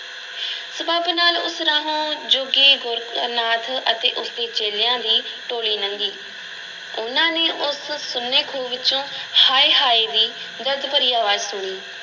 ਸਬੱਬ ਨਾਲ ਉਸ ਰਾਹੋਂ ਜੋਗੀ ਗੋਰਖ ਨਾਥ ਅਤੇ ਉਸ ਦੇ ਚੇਲਿਆਂ ਦੀ ਟੋਲੀ ਲੰਘੀ, ਉਹਨਾਂ ਨੇ ਉਸ ਸੁੰਨੇ ਖੂਹ ਵਿੱਚੋਂ ਹਾਏ-ਹਾਏ ਦੀ ਦਰਦ ਭਰੀ ਅਵਾਜ਼ ਸੁਣੀ।